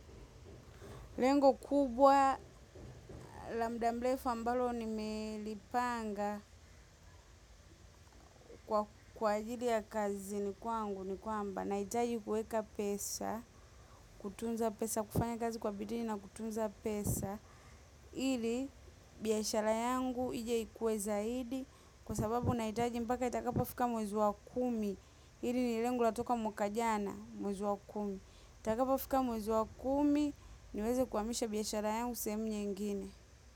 Lengo kubwa la muda mrefu ambalo nimelipanga kwa ajili ya kazi ni kwangu ni kwamba. Na hitaji kuweka pesa, kutunza pesa, kufanya kazi kwa bidii na kutunza pesa. Ili biashara yangu ije ikue zaidi. Kwa sababu nahitaji mpaka itakapo fika mwezi wa kumi. Hili ni lengo latoka mwaka jana mwezi wa kumi. Itakapa fika mwezi wa kumi niweze kuhamisha biashara yangu sehemu nyingine.